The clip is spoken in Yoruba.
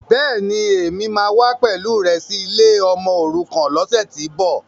Bẹ́ẹ̀ni, Èmi wà wá pẹ̀lú rẹ sì ilé ọmọòrukàn lọ́sẹ̀tíbọ̀.